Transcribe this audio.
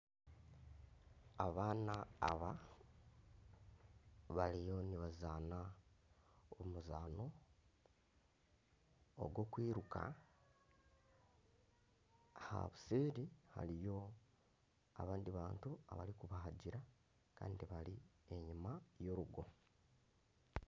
Abaana bariyo nibazaana omuzaano ogw'okwiruka aha buseeri hariyo abandi bantu abarikubahagira Kandi bari enyima y'orugo.